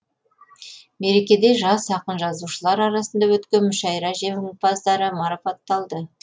мерекеде жас ақын жазушылар арасында өткен мүшайра жеңімпаздары марапатталды